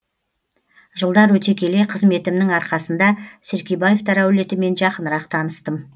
жылдар өте келе қызметімнің арқасында серкебаевтар әулетімен жақынырақ таныстым